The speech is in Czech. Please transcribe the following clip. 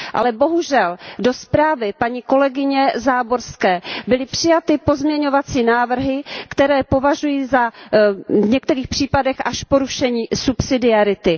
Ale bohužel do zprávy paní kolegyně Záborské byly přijaty pozměňovací návrhy, které považuji v některých případech až za porušení subsidiarity.